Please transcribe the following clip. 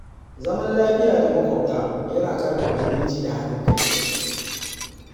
Zama Lafiya da maƙwabta yana ƙarfafa zumunci da haɗin kai.